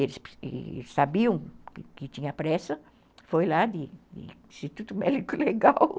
Eles sabiam que tinha pressa, foi lá de Instituto Médico Legal.